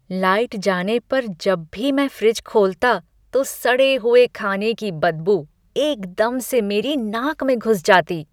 Light जाने पर जब भी मैं फ्रिज खोलता, तो सड़े हुए खाने की बदबू एकदम से मेरी नाक में घुस जाती।